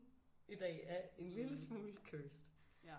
I dag er en lille smule cursed